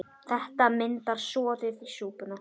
Þetta myndar soðið í súpuna.